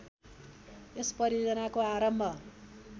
यस परियोजनाको आरम्भ